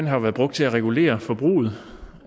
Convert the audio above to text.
har været brugt til at regulere forbruget